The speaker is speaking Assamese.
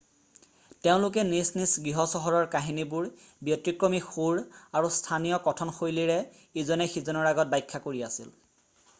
তেওঁলোকে নিজ নিজ গৃহচহৰৰ কাহিনীবোৰ ব্যতিক্ৰমী সুৰ আৰু স্থানীয় কথনশৈলীৰে ইজনে সিজনৰ আগত ব্যাখ্যা কৰি আছিল